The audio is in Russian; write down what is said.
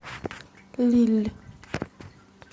лилль